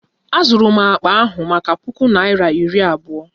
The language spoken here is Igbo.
Azụrụ m akpa ahụ maka puku naira iri abụọ